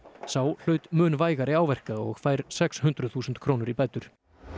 sá hlaut mun vægari áverka og fær sex hundruð þúsund krónur í bætur